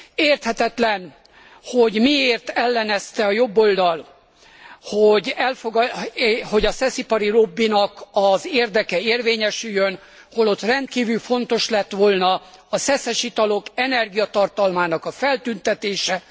Érthetetlen, hogy miért ellenezte a jobboldal, hogy a szeszipari lobbinak az érdeke érvényesüljön, holott rendkívül fontos lett volna a szeszes italok energiatartalmának a feltüntetése.